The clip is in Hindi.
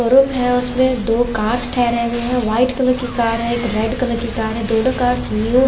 शोरूम है उसमे दो कार्स ठहरे हुए है वाइट कलर की कार है एक रेड कलर की कार दोनों कार्स न्यू --